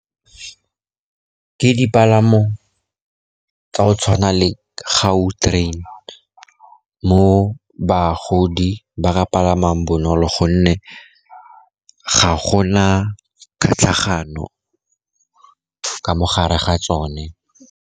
Ke dipalamo tsa go tshwana le Gautrain mo bagodi ba ka palamang bonolo, gonne ga gona tlhatlhagano ka mo gare ga tsone.